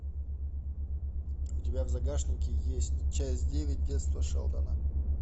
у тебя в загашнике есть часть девять детство шелдона